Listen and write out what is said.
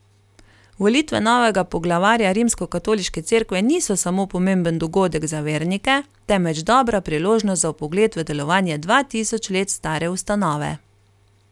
Volitve novega poglavarja Rimskokatoliške cerkve niso samo pomemben dogodek za vernike, temveč dobra priložnost za vpogled v delovanje dva tisoč let stare ustanove.